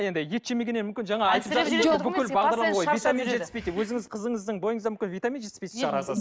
енді ет жемегеннен мүмкін жаңа өзіңіз қызыныздың бойында мүмкін витамин жетіспейтін шығар аз аз